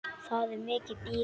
Það er mikið býli.